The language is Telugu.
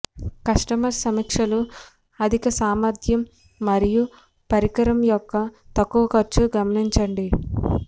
కస్టమర్ సమీక్షలు అధిక సామర్థ్యం మరియు పరికరం యొక్క తక్కువ ఖర్చు గమనించండి